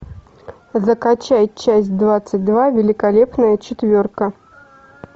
закачай часть двадцать два великолепная четверка